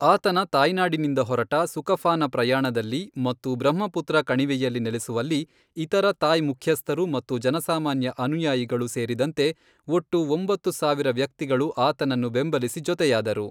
ಆತನ ತಾಯ್ನಾಡಿನಿಂದ ಹೊರಟ ಸುಕಫಾನ ಪ್ರಯಾಣದಲ್ಲಿ ಮತ್ತು ಬ್ರಹ್ಮಪುತ್ರ ಕಣಿವೆಯಲ್ಲಿ ನೆಲೆಸುವಲ್ಲಿ, ಇತರ ತಾಯ್ ಮುಖ್ಯಸ್ಥರು ಮತ್ತು ಜನಸಾಮಾನ್ಯ ಅನುಯಾಯಿಗಳು ಸೇರಿದಂತೆ ಒಟ್ಟು ಒಂಬತ್ತು ಸಾವಿರ ವ್ಯಕ್ತಿಗಳು ಆತನನ್ನು ಬೆಂಬಲಿಸಿ ಜೊತೆಯಾದರು.